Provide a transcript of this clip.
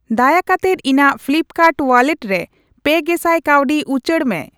ᱫᱟᱭᱟ ᱠᱟᱛᱮᱫ ᱤᱧᱟᱜ ᱯᱷᱞᱤᱯᱠᱟᱨᱰ ᱣᱟᱞᱞᱮᱴ ᱨᱮ ᱯᱮ ᱜᱮᱥᱟᱭ ᱠᱟᱹᱣᱰᱤ ᱩᱪᱟᱹᱲ ᱢᱮ ᱾